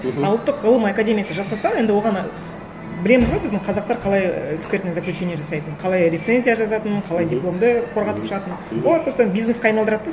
мхм а ұлттық ғылым академиясы жасаса енді оған білеміз ғой біздің қазақтар қалай экспертное заключение жасайтынын қалай рецензия жазатынын қалай дипломды қорғатып шығатынын олар просто бизнеске айналдырады да